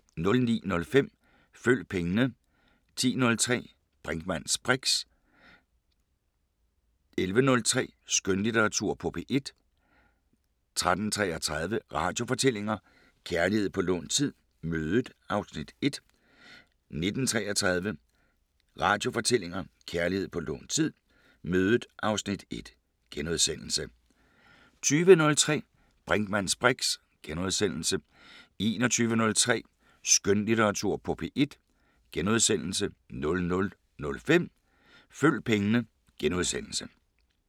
09:05: Følg pengene 10:03: Brinkmanns briks 11:03: Skønlitteratur på P1 13:33: Radiofortællinger: Kærlighed på lånt tid – Mødet (Afs. 1) 19:33: Radiofortællinger: Kærlighed på lånt tid – Mødet (Afs. 1)* 20:03: Brinkmanns briks * 21:03: Skønlitteratur på P1 * 00:05: Følg pengene *